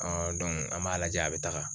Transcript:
an b'a lajɛ a bɛ taga